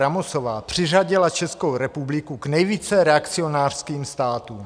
Ramosová přiřadila Českou republiku k nejvíce reakcionářským státům.